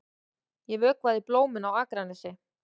Ég vökvaði blómin á Akranesi.